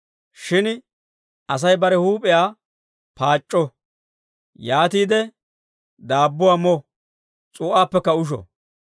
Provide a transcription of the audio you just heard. Shin Asay bare huup'iyaa paac'c'o. Yaatiide daabbuwaa mo. S'uu'aappekka usho.